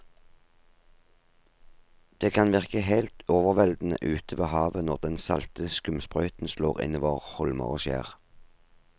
Det kan virke helt overveldende ute ved havet når den salte skumsprøyten slår innover holmer og skjær.